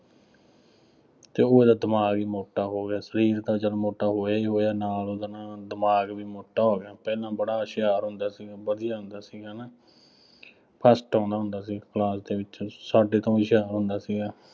ਅਤੇ ਉਹ ਇਹਦਾ ਦਿਮਾਗ ਹੀ ਮੋਟਾ ਹੋ ਗਿਆ। ਸਰੀਰ ਤਾਂ ਚੱਲ ਮੋਟਾ ਹੋਇਆ ਹੀ ਹੋਇਆ ਨਾਲ ਉਹਦਾ ਨਾ ਦਿਮਾਗ ਵੀ ਮੋਟਾ ਹੋ ਗਿਆ। ਪਹਿਲਾਂ ਬੜਾ ਹੁਸ਼ਿਆਰ ਹੁੰਦਾ ਸੀ। ਵਧੀਆਂ ਹੁੰਦਾ ਸੀ, ਨਾ first ਆਉਂਦਾ ਹੁੰਦਾ ਸੀ, class ਦੇ ਵਿੱਚ, ਸਾਡੇ ਤੋਂ ਹੁਸ਼ਿਆਰ ਹੁੰਦਾ ਸੀਗਾ।